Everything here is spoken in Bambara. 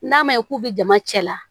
N'a ma ye k'u bɛ jama cɛla